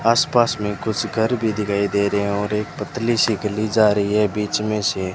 आसपास में कुछ घर भी दिखाई दे रहे हैं और एक पतली सी गली जा रही है बीच में से।